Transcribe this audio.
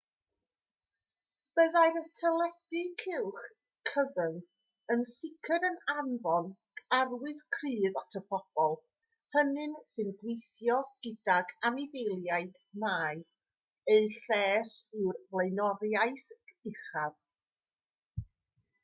byddai'r teledu cylch cyfyng yn sicr yn anfon arwydd cryf at y bobl hynny sy'n gweithio gydag anifeiliaid mai eu lles yw'r flaenoriaeth uchaf